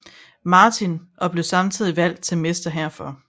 Martin og blev samtidig valgt til mester herfor